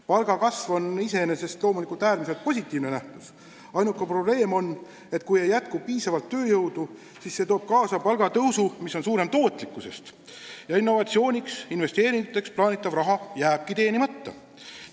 Palgakasv on iseenesest loomulikult äärmiselt positiivne nähtus, ainuke probleem on, et kui ei jätku piisavalt tööjõudu, siis see toob kaasa palgatõusu, mis on suurem kui tootlikkuse kasv, ja innovatsiooniks, investeeringuteks vajalik raha jääbki teenimata.